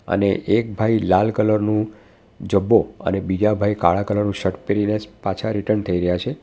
અને એક ભાઈ લાલ કલર નું જબ્બો અને બીજા ભાઈ કાળા કલર નું શર્ટ પહેરીને જ પાછા રિટર્ન થઈ રહ્યા છે.